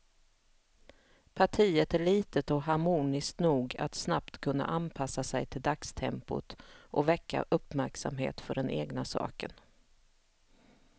Partiet är litet och harmoniskt nog att snabbt kunna anpassa sig till dagstempot och väcka uppmärksamhet för den egna saken.